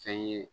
Fɛn ye